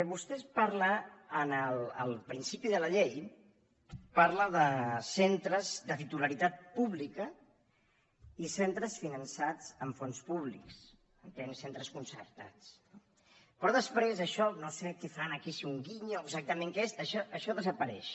vostè parla al principi de la llei de centres de titularitat pública i centres finançats amb fons públics entenc centres concertats no però després això no sé què fan aquí si l’ullet o exactament què és desapareix